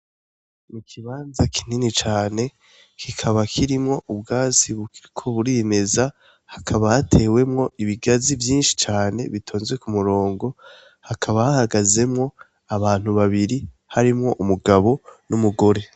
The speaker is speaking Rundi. Nikibanza kinini cane kikaba kirimwo bukiriko burimeza hakaba hatewemwo ibigazi vyinshi cane bitonze ku murongo hakaba hahagazemwo abantu babibri umugabo n'umugore.